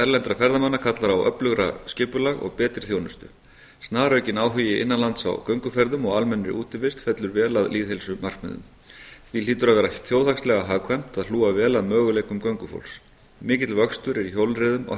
erlendra ferðamanna kallar á öflugara skipulag og betri þjónustu snaraukinn áhugi innan lands á gönguferðum og almennri útivist fellur vel að lýðheilsumarkmiðum því hlýtur að vera þjóðhagslega hagkvæmt að hlúa vel að möguleikum göngufólks mikill vöxtur er í hjólreiðum á